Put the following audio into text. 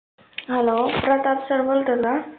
Hello Pratap sir बोलतात का ?